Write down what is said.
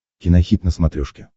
кинохит на смотрешке